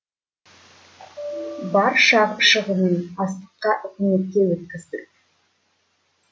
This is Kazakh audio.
бар шығымын астыққа үкіметке өткіздік